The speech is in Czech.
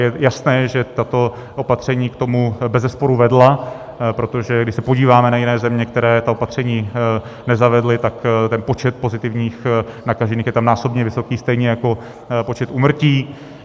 Je jasné, že tato opatření k tomu bezesporu vedla, protože když se podíváme na jiné země, které ta opatření nezavedly, tak ten počet pozitivních nakažených je tam násobně vysoký, stejně jako počet úmrtí.